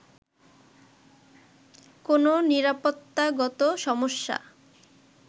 কোনও নিরাপত্তাগত সমস্যা